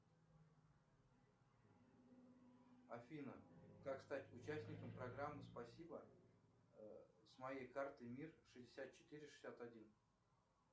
афина как стать участником программы спасибо с моей карты мир шестьдесят четыре шестьдесят один